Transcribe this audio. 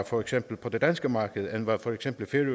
for eksempel på det danske marked end hvad for eksempel